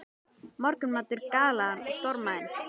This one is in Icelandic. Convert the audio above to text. Morgunmatur galaði hann og stormaði inn.